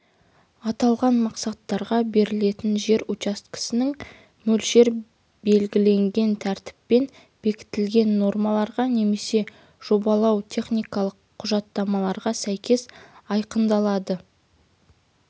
аталған мақсаттарға берілетін жер учаскелерінің мөлшер белгіленген тәртіппен бекітілген нормаларға немесе жобалау-техникалық құжаттамаларға сәйкес айқындалады